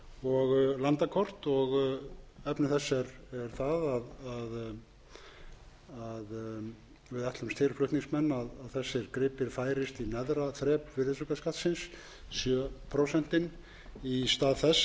og landakort efni þess er það að við ætlumst til flutningsmenn að þessir gripir færist í neðra þrep virðisaukaskattsins sjö prósentin í stað þess að vera í efra